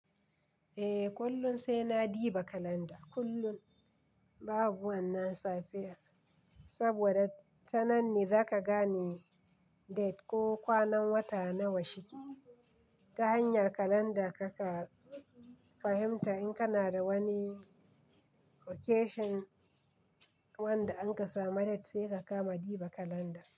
Eh, kullum sai na duba kalanda kullum babu wannan safiyar, saboda ta nan ne za ka gane date ko kwanan wata nawa shike. Ta hanyar kalanda ka ka fahimta in kana da wani occasion wanda an ka samu date sai ka kama diba kalanda.